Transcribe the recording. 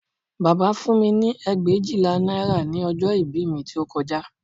Bàbá fún mi ní ẹgbẹ̀éjìlá náírà ní ọjọ́ ìbí mi tí ó kọjá